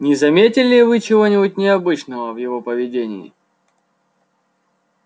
не заметили ли вы чего-нибудь необычного в его поведении